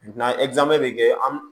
bɛ kɛ an